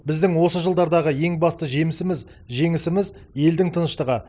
біздің осы жылдардағы ең басты жемісіміз жеңісіміз елдің тыныштығы